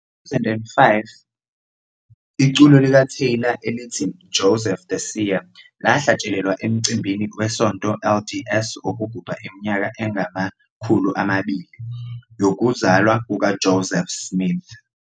Ku-2005, iculo likaTaylor elithi "Joseph the Seer" lahlatshelelwa emcimbini weSonto LDS wokugubha iminyaka engama-200 yokuzalwa kukaJoseph Smith.